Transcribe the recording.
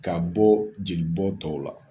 Ka bɔ jeli bɔn tɔw la.